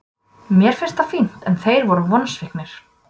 Mér finnst það fínt en þeir eru vonsviknir.